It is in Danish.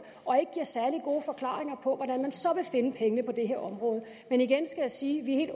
og ikke giver særlig gode forklaringer på hvordan man så vil finde pengene på det her område men igen skal jeg sige at vi er